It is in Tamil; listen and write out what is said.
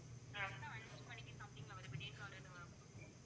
ஐந்து மணிக்கு something ல வரும் விடியற்காலையில வரும்.